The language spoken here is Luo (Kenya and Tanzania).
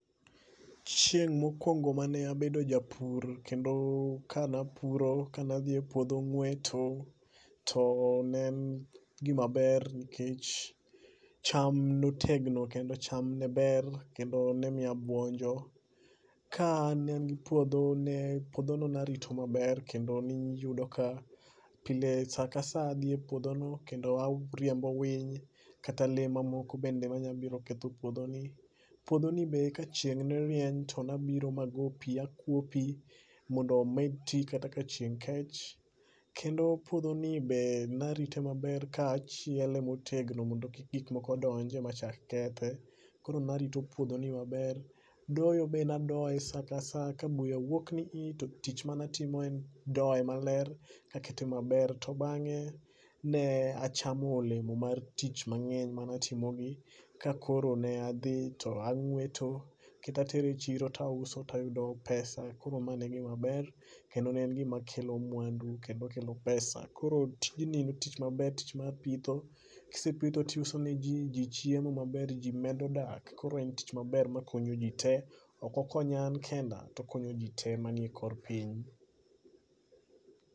Chieng' mokwongo mane abedo japur kendo kanapuro kanadhie puodho ng'weto to ne en gimaber nikech cham notegno kendo cham ne ber kendo ne mi abuonjo. Ka ne an gi puodho, puodhono narito maber kendo niyudo ka pile sa ka sa adhi e puodhono kendo ariembo winy kata lee mamoko bende manyabiro ketho puodhoni. Puodho ni be ka chieng' ne rieny to nabiro mago pi akwo pi mondo omed ti kata ka chieng' kech. Kendo puodhoni be narite maber kaachiele motegno mondo gikmoko donje machak kethe. Koro narito puodhoni maber. Doyo be nadoye sa ka sa ka buya wuok ni i to tich manatimo en doye maler kakete maber to bang'e ne achamo olemo mar tich mang'eny manatimogi kakoro ne adhi to ang'weto kendo atere chiro tauso tayudo pesa koro mane gimaber kendo ne en gimakelo mwandu kendo kelo pesa. Koro tijni en tich maber tich mar pitho, kisepitho tiuse ne ji jimchiemo maber to ji medo dak koro en tich maber makonyo ji te. Ok okonya an kenda, to okonyo ji te manie kor piny.